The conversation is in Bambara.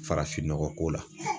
Farafinnɔgɔko la